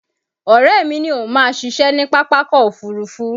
Ọ̀rẹ́ mi ní òun máa ṣiṣẹ́ ní Pápákọ̀ Òfurufú